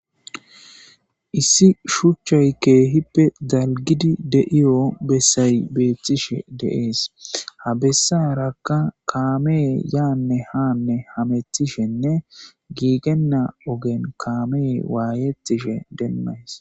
Issi shuchchay keehippe dalgidi de'iyo bessay beethtishe deees. Ha bessarakka kaamee yaanne haanne hamethishenne giigenna ogen kaamey waayettishe demmays.